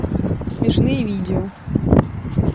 смешные видео